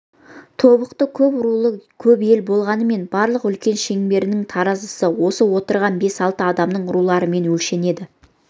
тобықты көп рулы көп ел болғанымен барлық үлкен шеңберінің таразысы осы отырған бес-алты адамның руларымен өлшенеді